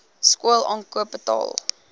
skool aankoop betaal